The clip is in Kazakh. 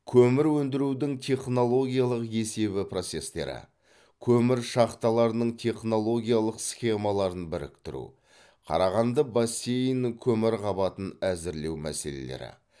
көмір өндірудің технологиялық есебі процестері көмір шахталарының технологиялық схемаларын біріктіру қарағанды бассейнінің көмір қабатын әзірлеу мәселелері